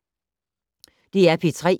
DR P3